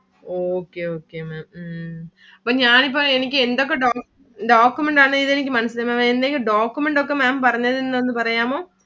Okay okay Maá'm ഉം ഇപ്പം ഞാൻ ഇപ്പൊ എനിക്ക് എന്തൊക്കെ document ആണെന്ന് എനിക്ക് മനസ്സിലായില്ല. Document ഒക്കെ Maám പറഞ്ഞതെന്താന്ന് ഒന്ന് പറയാമോ?